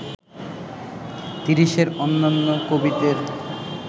তিরিশের অন্যান্য কবিদের